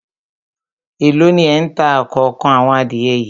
Èló ni ẹ̀ ń ta òkòókan àwọn adìẹ yìí